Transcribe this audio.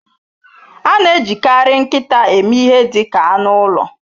A na-ejikarị nkịta eme ihe dị ka anụ ụlọ.